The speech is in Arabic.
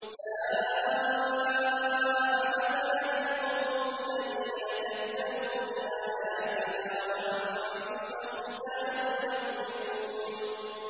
سَاءَ مَثَلًا الْقَوْمُ الَّذِينَ كَذَّبُوا بِآيَاتِنَا وَأَنفُسَهُمْ كَانُوا يَظْلِمُونَ